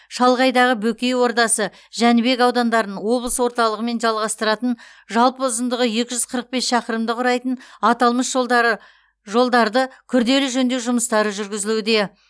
шалғайдағы бөкей ордасы жәнібек аудандарын облыс орталығымен жалғастыратын жалпы ұзындығы екі жүз қырық бес шақырымды құрайтын аталмыш жолдары жолдарды күрделі жөндеу жұмыстары жүргізілуде